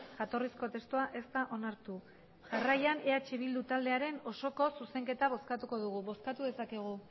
jatorrizko testua ez da onartu jarraian eh bildu taldearen osoko zuzenketa bozkatuko dugu bozkatu dezakegu